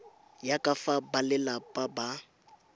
ya ka fa balelapa ba